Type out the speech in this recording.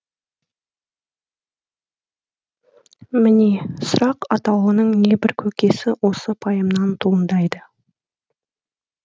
міне сұрақ атаулының небір көкесі осы пайымнан туындайды